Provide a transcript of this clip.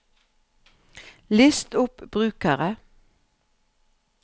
list opp brukere